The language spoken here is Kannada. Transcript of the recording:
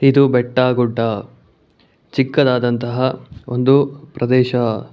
ಇದು ಬೆಟ್ಟಗುಡ್ಡ ಚಿಕ್ಕದಾದಂತಹ ಒಂದು ಪ್ರದೇಶ.